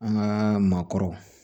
An ka maakɔrɔ